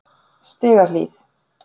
Stigahlíð